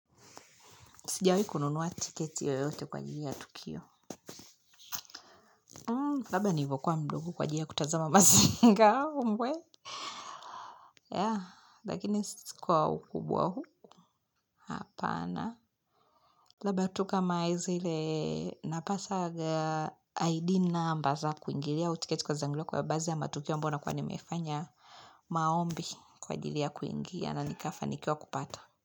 Sijawahi kununua tiketi yo yote kwa ajili ya tukio. Labda nilivokuwa mdogo kwa ajili ya kutazama mazinga ombwe. Ya, lakini sikwa ukubwa huu. Hapana. Labda tuka maizele napasaga ID na mba za kuingilia. Utiketi kwa zangiliw kwa baazi ya matukio ambayo na kuwa nimefanya maombi kwa ajili ya kuingia. Na nikafa nikiwa kupata.